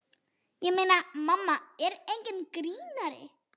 Ég meina, mamma er enginn grínari.